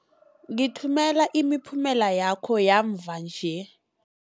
Ngithumela imiphumela yakho yamva nje.